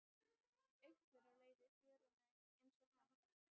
Einhver á leið í fjöruna einsog hann.